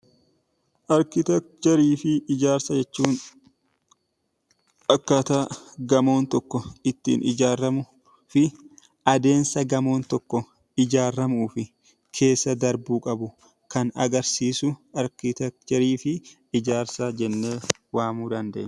Arkiteecharii fi ijaarsa jechuun gamoon tokko ittiin ijaaramu adeemsa gamoon tokko ijaaramuuf keessa darbuu qabu kan agarsiisu arkiteekcharii fi ijaarsa jennee waamuu dandeenya.